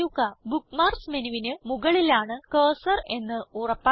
bookmarks മെനുവിന് മുകളിലാണ് cursor എന്ന് ഉറപ്പാക്കുക